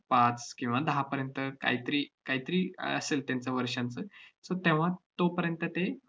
पाच किंवा दहापर्यंत कायतरी~ कायतरी अह असेल त्यांचं वर्षांचं. so तेव्हा तोपर्यंत ते